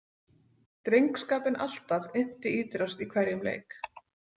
Drengskapinn alltaf innti ítrast í hverjum leik.